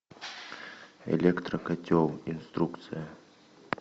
электрокотел инструкция